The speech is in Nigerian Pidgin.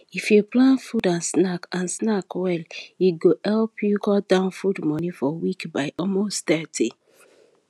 if you plan food and snack and snack well e go help you cut down food money for week by almost 30